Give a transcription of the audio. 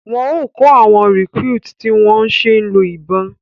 Wọn o kọ awọn recruit ti ń wón o ṣe lọ ibọn